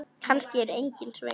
Kannski eru engin svör.